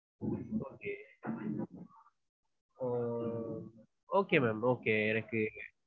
okay ma'am okay எனக்கு